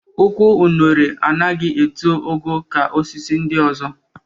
Ụkwụ unere anaghị eto ogo ka osisi ndị ọzọ